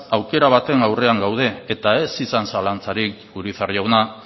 aukera baten aurrean gaude eta ez izan zalantzarik urizar jauna